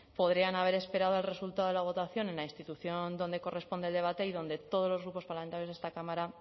podrían haber esperado al resultado de la votación en la institución donde corresponde el debate y donde todos los grupos parlamentarios de esta cámara